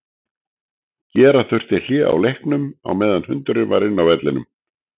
Gera þurfti hlé á leiknum á meðan hundurinn var inn á vellinum.